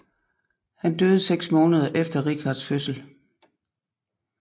Han døde seks måneder efter Richards fødsel